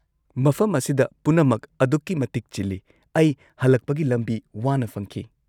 -ꯃꯐꯝ ꯑꯁꯤꯗ ꯄꯨꯟꯅꯃꯛꯀꯤ ꯑꯗꯨꯛꯀꯤ ꯃꯇꯤꯛ ꯆꯤꯜꯂꯤ, ꯑꯩ ꯍꯜꯂꯛꯄꯒꯤ ꯂꯝꯕꯤ ꯋꯥꯅ ꯐꯪꯈꯤ꯫